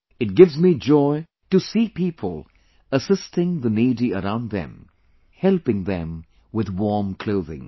It gives me joy to see people assisting the needy around them ; helping them with warm clothing